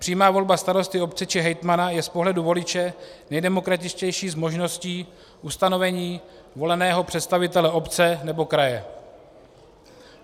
Přímá volba starosty obce či hejtmana je z pohledu voliče nejdemokratičtější z možností ustanovení voleného představitele obce nebo kraje.